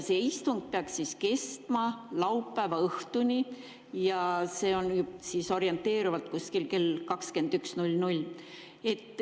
See istung peaks kestma laupäeva õhtuni, see on orienteerivalt kuskil kella 21-ni.